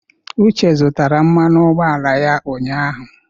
Uche zụtara mmanụ ụgbọala ya ụnyahụ.